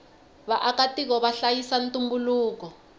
vaaka tiko vahlayisa ntumbuluko